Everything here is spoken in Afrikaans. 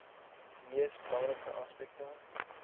mees belangrike aspekte